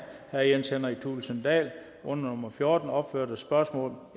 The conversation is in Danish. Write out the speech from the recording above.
herre jens henrik thulesen dahl under nummer fjorten opførte spørgsmål